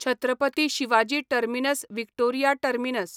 Chhatrapati Shivaji terminus Victoria terminus